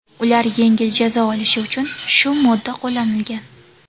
Ular yengil jazo olishi uchun shu modda qo‘llanilgan.